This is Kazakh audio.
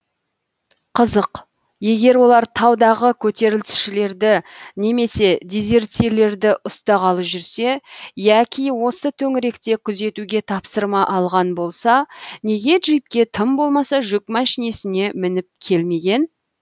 қызық егер олар таудағы көтерілісшілерді немесе дезертирлерді ұстағалы жүрсе яки осы төңіректі күзетуге тапсырма алған болса неге джипке тым болмаса жүк машинесіне мініп келмеген